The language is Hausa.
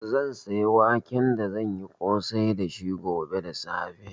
Zan saya wake da zan yi ƙosai dashi gobe da safe.